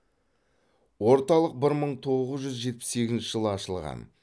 орталық бір мың тоғыз жүз жетпіс сегізінші жылы ашылған